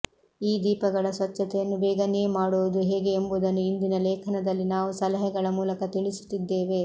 ಈ ದೀಪಗಳ ಸ್ವಚ್ಛತೆಯನ್ನು ಬೇಗನೇ ಮಾಡುವುದು ಹೇಗೆ ಎಂಬುದನ್ನು ಇಂದಿನ ಲೇಖನದಲ್ಲಿ ನಾವು ಸಲಹೆಗಳ ಮೂಲಕ ತಿಳಿಸುತ್ತಿದ್ದೇವೆ